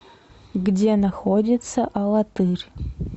где находится алатырь